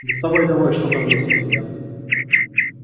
доставай давай что там есть у тебя